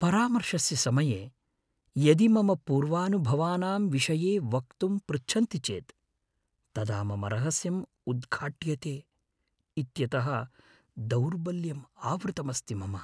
परामर्शस्य समये यदि मम पूर्वानुभवानाम् विषये वक्तुं पृच्छन्ति चेत् तदा मम रहस्यम् उद्घाट्यते इत्यतः दौर्बल्यम् आवृतमस्ति मम ।